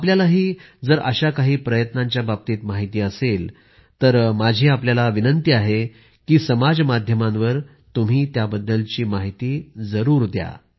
आपल्यालाही जर अशा काही प्रयत्नांच्या बाबतीत माहिती असेल तर माझा आग्रह आहे की समाजमाध्यमांवर तुम्ही त्याची जरूर माहिती द्या